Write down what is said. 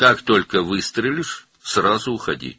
Elə ki atəş açdın, dərhal get.